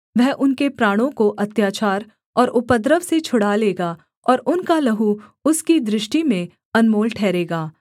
वह उनके प्राणों को अत्याचार और उपद्रव से छुड़ा लेगा और उनका लहू उसकी दृष्टि में अनमोल ठहरेगा